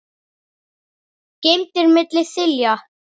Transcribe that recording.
geymdir milli þilja.